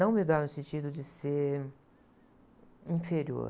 Não humildade no sentido de ser inferior.